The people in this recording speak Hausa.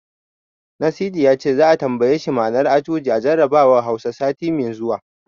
Nasidi ya ce, za'a tambaye shi ma'anar Ajuji a jarabawar Hausa, sati mai zuwa.